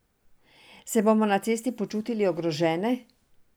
Se bomo na cesti počutili ogrožene?